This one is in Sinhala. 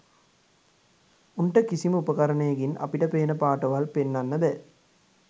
උන්ට කිසිම උපකරණයකින් අපිට පේන පාටවල් පෙන්නන්න බෑ